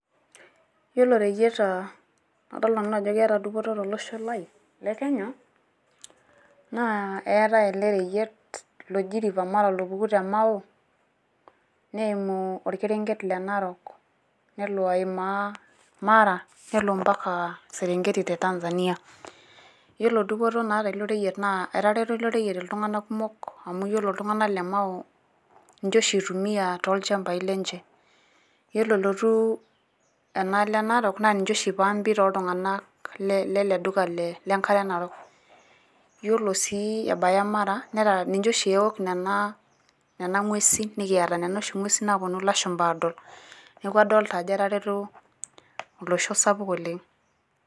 Yielo reyieta nadol Nanu ajo keeta dupoto tolosho Lai lekenya naa eetae ele reyiet oji rfa Mara opuku te Mao neimu olkerenket leNarok nelo aimaa Mara nelo ampaka Serengeti te Tanzania. Yielo dupoto naata ilo reyiet naa etareto ilo reyiet iltung'anak kumok amu yielo iltung'anak le Mao inche oshi eitumiya tolchampai lenche, yiolo elotu enaalo eNarok naa niche oshi eipaambi tooltung'anak le le Duka lenkare Narok. Yiolo sii ebaiki mara, ninche oshi eok Nena ng'uesin nikiata Nena oshi ng'uesin naaponu ilashumpa Aadol, neeku adolita ajo etareto olosho sapuk oleng'